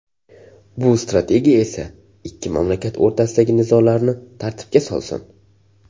Bu strategiya esa ikki mamlakat o‘rtasidagi nizolarni tartibga solsin.